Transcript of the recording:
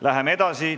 Läheme edasi.